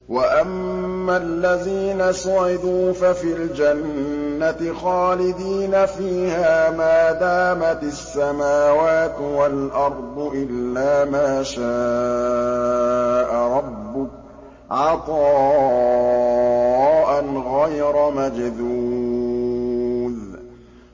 ۞ وَأَمَّا الَّذِينَ سُعِدُوا فَفِي الْجَنَّةِ خَالِدِينَ فِيهَا مَا دَامَتِ السَّمَاوَاتُ وَالْأَرْضُ إِلَّا مَا شَاءَ رَبُّكَ ۖ عَطَاءً غَيْرَ مَجْذُوذٍ